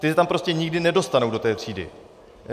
Ty se tam prostě nikdy nedostanou, do té třídy.